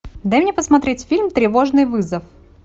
дай мне посмотреть фильм тревожный вызов